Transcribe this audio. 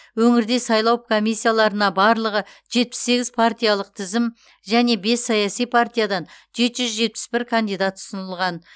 өңірде сайлау комиссияларына барлығы жетпіс сегіз партиялық тізім және бес саяси партиядан жеті жүз жетпіс бір кандидат ұсынылған